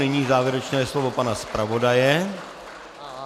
Nyní závěrečné slovo pana zpravodaje.